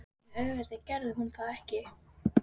En auðvitað gerði hún það ekki.